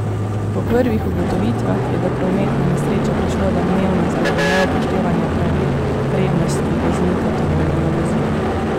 Po prvih ugotovitvah je do prometne nesreče prišlo domnevno zaradi neupoštevanja pravil prednosti voznika tovornega vozila.